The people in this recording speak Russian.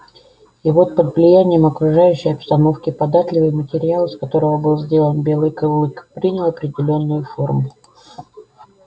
и вот под влиянием окружающей обстановки податливый материал из которого был сделан белый клык принял определённую форму